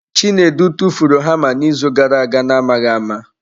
Chinedu tụfuru hama n'izu gara aga na-amaghị ama.